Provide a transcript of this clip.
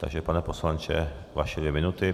Takže pane poslanče, vaše dvě minuty.